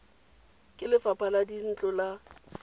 ke lefapha la dintlo la